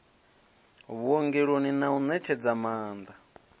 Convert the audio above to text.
vhuongeloni na u ṋetshedza maaṋda